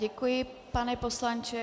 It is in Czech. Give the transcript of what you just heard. Děkuji, pane poslanče.